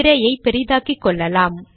திரையை பெரிதாக்கிக்கொள்ளலாம்